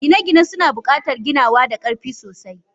Gine-gine suna buƙatar ginawa da ƙarfi sosai.